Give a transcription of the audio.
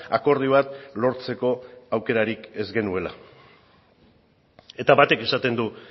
akordio bat lortzeko aukerarik ez genuela eta batek esaten du